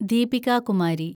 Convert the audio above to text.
Deepika Kumari